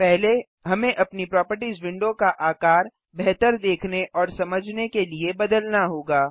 पहले हमें अपनी प्रोपर्टिज विंडो का आकार बेहतर देखने और समझने के लिए बदलना होगा